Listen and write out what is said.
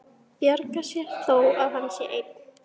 Bjargar sér þó að hann sé einn.